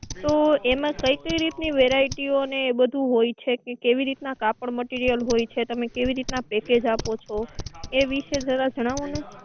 તો એમા કઈ કઈ રીતની variety ને એ બધુ હોય છે કે કેવી રીત ના કાપડ material હોય છે તમે કેવી રીતના package આપો છો એ વિશે જરા જણાવો ને